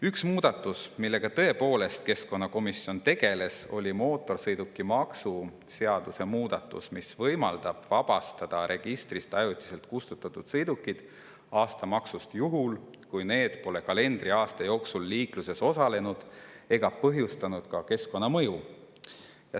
Üks muudatus, millega tõepoolest keskkonnakomisjon tegeles, oli mootorsõidukimaksu seaduse muudatus, mis võimaldab vabastada registrist ajutiselt kustutatud sõidukid aastamaksust juhul, kui need pole kalendriaasta jooksul liikluses osalenud ega põhjustanud ka keskkonnamõju.